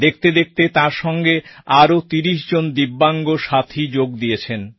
দেখতে দেখতে তাঁর সঙ্গে আরও তিরিশ জন দিব্যাঙ্গ সাথী যোগ দিলেন